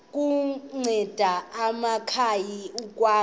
kunceda amakhaya ukwakha